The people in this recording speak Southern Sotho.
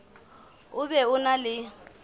o be o na le